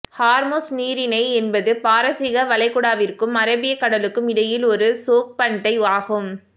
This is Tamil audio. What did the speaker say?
ஹார்முஸ் நீரிணை என்பது பாரசீக வளைகுடாவிற்கும் அரேபிய கடலுக்கும் இடையில் ஒரு சோக்ஃபண்டை ஆகும்